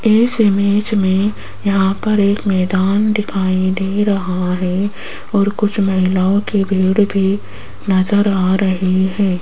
इस इमेज में यहां पर एक मैदान दिखाई दे रहा है और कुछ महिलाओं की भीड़ भी नज़र आ रही है।